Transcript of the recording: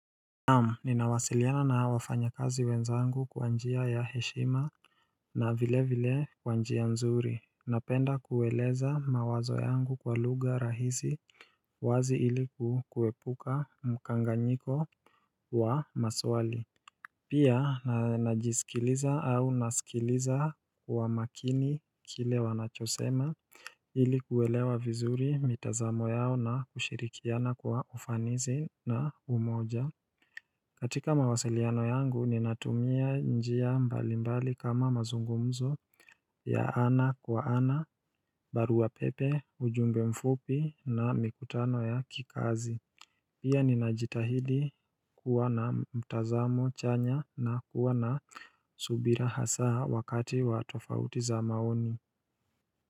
Naam, ninawasiliana na wafanya kazi wenzangu kwa njia ya heshima na vile vile kwa njia nzuri. Napenda kueleza mawazo yangu kwa lugha rahisi wazi ili ku kuepuka mkanganyiko wa maswali. Pia, na najisikiliza au nasikiliza kwa makini kile wanachosema ilikuelewa vizuri mitazamo yao na kushirikiana kwa ufanisi na umoja. Katika mawasiliano yangu ninatumia njia mbali mbali kama mazungumzo ya ana kwa ana, barua pepe, ujumbe mfupi na mikutano ya kikazi Pia ninajitahidi kuwa na mtazamo chanya na kuwa na subira hasa wakati wa tofauti za maoni.